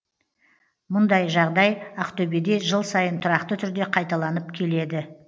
мұндай жағдай ақтөбеде жыл сайын тұрақты түрде қайталанып келеді